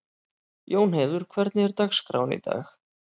Jónheiður, hvernig er dagskráin í dag?